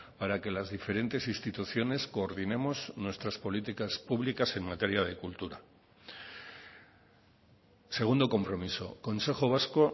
para que las diferentes instituciones coordinemos nuestras políticas públicas en materia de cultura segundo compromiso consejo vasco